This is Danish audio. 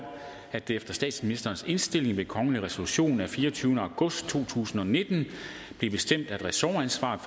at det efter statsministerens indstilling ved kongelig resolution den fireogtyvende august to tusind og nitten blev bestemt at ressortansvaret